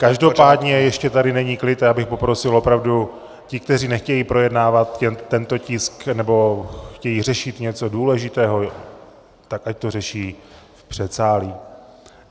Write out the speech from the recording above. Každopádně ještě tady není klid a já bych poprosil opravdu ty, kteří nechtějí projednávat tento tisk nebo chtějí řešit něco důležitého, tak ať to řeší v předsálí.